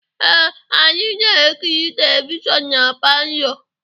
Ee, anyị na-ekiri televishọnụ na palọ.